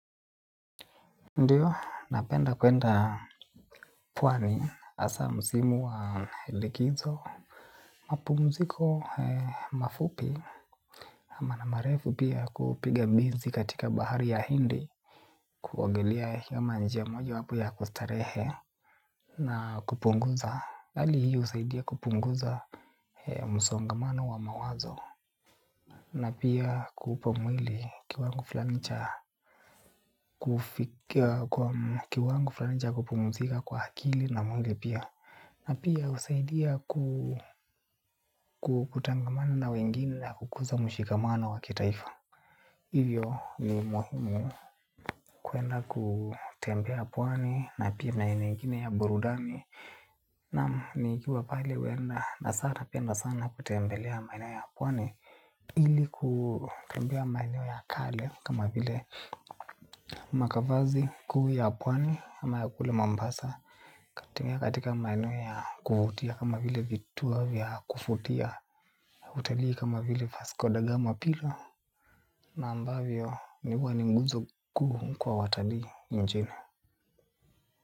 Ndiyo, napenda kwenda Pwani hasa msimu wa likizo. Mapumziko mafupi ama na marefu pia kupiga mbizi katika bahari ya hindi. Kuogelea kama njia mojawapo ya kustarehe na kupunguza hali hii husaidia kupunguza msongamano wa mawazo. Na pia kupa mwili kiwango fulani cha kiwango flani cha kupumzika kwa akili na mwili pia. Na pia husaidia kutangamana na wengine na kukuza mshikamano wa kitaifa. Hivyo ni muhimu kwenda kutembea pwani na pia maeneo mengine ya burudani. Naam, nikiwa pale huenda nasara napenda sana kutembelea maeneo ya pwani ili kutembea maeneo ya kale kama vile makavazi kuu ya pwani ama ya kule mombasa katika maeneo ya kuvutia kama vile vituo vya kuvutia utalii kama vile vasco da gama pila. Na ambavyo ni wani mguzo kuwa watalii njena.